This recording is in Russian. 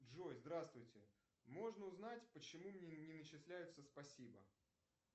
джой здравствуйте можно узнать почему мне не начисляются спасибо